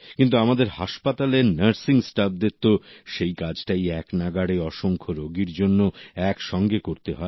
কিন্তু আমাদের হাসপাতালের নার্সিংস্টাফদের তো সেই কাজটাই একনাগাড়ে অসংখ্য রোগীদের জন্য একসঙ্গে করতে হয়